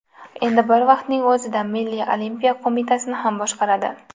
Endi bir vaqtning o‘zida Milliy olimpiya qo‘mitasini ham boshqaradi.